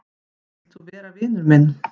Vilt þú vera vinur minn?